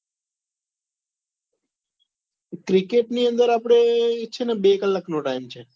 cricket ની અંદર આપડે છે ને બે કલાક નો time છે.